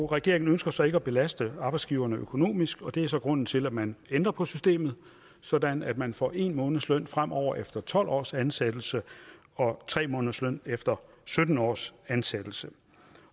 regeringen ønsker så ikke at belaste arbejdsgiverne økonomisk og det er så grunden til at man ændrer på systemet sådan at man får en måneds løn fremover efter tolv års ansættelse og tre måneders løn efter sytten års ansættelse